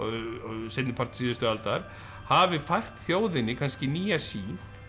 seinni part síðustu aldar hafi fært þjóðinni kannski nýja sýn